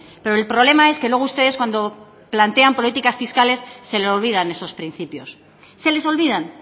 pero el problema es que luego ustedes cuando plantean políticas fiscales se le olvidan esos principios se les olvidan